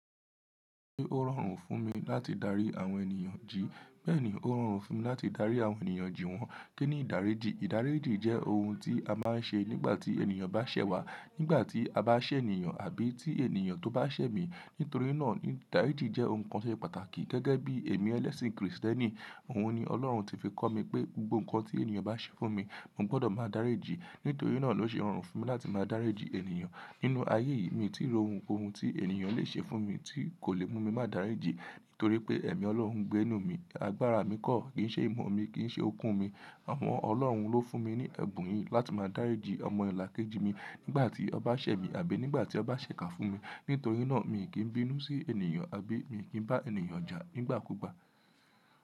Ó rọrùn fún mi láti darí àwọn ènìyàn jì, bẹ́ẹ̀ ni ó rọrùn fún mi láti darí àwọn ènìyàn jì wọ́n. Kí ni ìdáríjì? Ìdáríjì jẹ́ ohun tí a máa ń ṣe nígbà tí ènìyàn bá ṣẹ̀ wá, nígbà tí a bá ṣẹ̀ ènìyàn àbí tí ènìyàn tó bá ṣẹ̀ mi. Nítorí náà ìdáríjì jẹ́ ohun kan tó ṣe pàtàkì. Gẹ́gẹ́ bí ẹ̀mí ẹlẹ́sìn kìrìsìtẹ́nì, òun ni Ọlọ́run tí fi kọ́ mi pé gbogbo nǹkan tí ènìyàn bá ṣe fún mi, mo gbọdọ̀ máa dáríjì. Nítorí náà ló ṣe rọrùn fún mi láti máa dáríjì ènìyàn. Nínú ayé yìí mi ò tí rí ohun ko ohun tí ènìyàn le ṣe fún mi tí kò lè mú mi máa dáríjì nítorí pé ẹ̀mí Ọlọ́run ń gbé nínú mi. Agbára mi kọ̀, kì í ṣe ìmọ̀ mi, kì í ṣe okun mi. Àwọn Ọlọ́run ló fún mi ní ẹ̀bùn yìí láti máa dáríjì ọmọ là kejì mi nígbà tí ó bá ṣẹ̀ mi àbí nígbà tí ó bá ṣẹ̀ ká fún mi. Nítorí náà mi kì í bínú sí ènìyàn àbí mi kì í bá ènìyàn jà nígbà kúgbà.